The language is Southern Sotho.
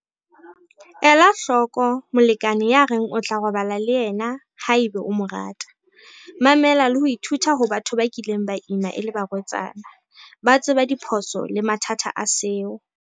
Ela hloko molekane ya reng o tla robala le yena haeba o mo rata. Mamela le ho ithuta ho batho ba kileng ba ima e le barwetsana. Ba tseba diphoso le mathata a seo.